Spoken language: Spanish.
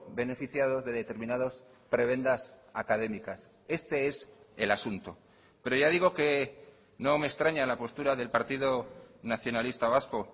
beneficiados de determinados prebendas académicas este es el asunto pero ya digo que no me extraña la postura del partido nacionalista vasco